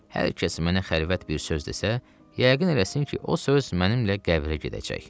Hər kəs mənə xəlvət bir söz desə, yəqin eləsin ki, o söz mənimlə qəbrə gedəcək.